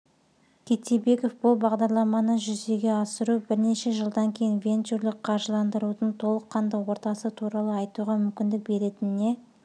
кеттебеков бұл бағарламаны жүзеге асыру бірнеше жылдан кейін венчурлік қаржыландырудың толыққанды ортасы туралы айтуға мүмкіндік беретініне